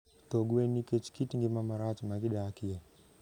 tho gwen nikech kit ngima marach ma gidakie.